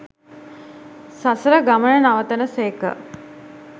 සසර ගමන නවතන සේක.